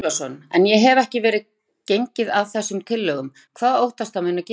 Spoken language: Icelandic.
Andri Ólafsson: En ef ekki verður gengið að þessum tillögum, hvað óttastu að muni gerast?